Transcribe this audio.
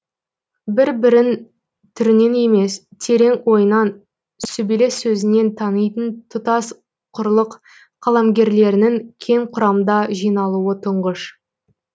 бір бірін түрінен емес терең ойынан сүбелі сөзінен танитын тұтас құрлық қаламгерлерінің кең құрамда жиналуы тұңғыш